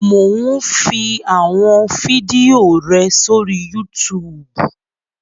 Mò ún fi àwọn fídíò rẹ sórí Yútùùbù